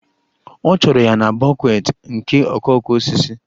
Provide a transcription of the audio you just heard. Ọ chọrọ ya na bouquet nke okooko osisi